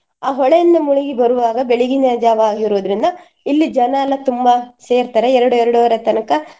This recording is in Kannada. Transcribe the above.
ಆ ಹೊಳೆಯಿಂದ ಮುಳುಗಿ ಬರುವಾಗ ಬೆಳಗಿನ ಜಾವ ಆಗಿರುದ್ರಿಂದ ಇಲ್ಲಿ ಜನ ಎಲ್ಲ ತುಂಬ ಸೇರ್ತಾರೆ ಎರಡು ಎರಡೂವರೆ ತನಕ.